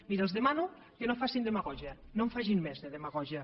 miri els demano que no facin demagògia no en facin més de demagògia